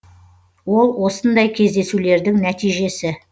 ол осындай кездесулердің нәтижесі